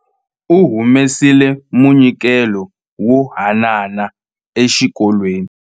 Va humesile munyikelo wo haanana exikolweni.